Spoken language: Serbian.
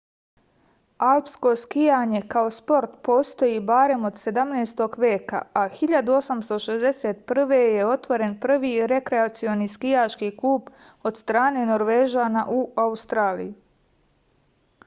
alpsko skijanje kao sport postoji barem od 17. veka a 1861. je otvoren prvi rekreacioni skijaški klub od strane norvežana u australiji